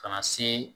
Ka na se